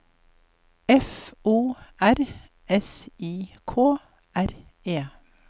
F O R S I K R E